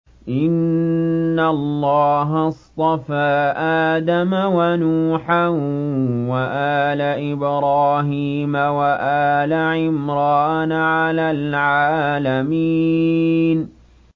۞ إِنَّ اللَّهَ اصْطَفَىٰ آدَمَ وَنُوحًا وَآلَ إِبْرَاهِيمَ وَآلَ عِمْرَانَ عَلَى الْعَالَمِينَ